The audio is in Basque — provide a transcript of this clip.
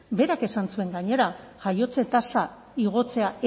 berak esan zuen gainera jaiotze tasa igotzea